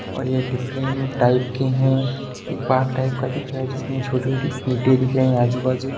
और ये different type के है एक बाग टाइप का दिख रहा है जिसमे छोटी-छोटी इटे दिख रही आजु-बाजू।